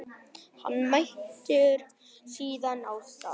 Hann mætir síðan á stað